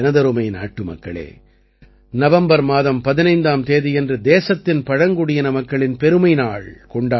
நாட்டுமக்களே நவம்பர் மாதம் 15ஆம் தேதியன்று தேசத்தின் பழங்குடியின மக்களின் பெருமை நாள் கொண்டாடப்படும்